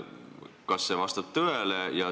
Kas see vastab tõele?